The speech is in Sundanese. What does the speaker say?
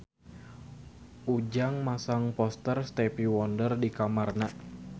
Ujang masang poster Stevie Wonder di kamarna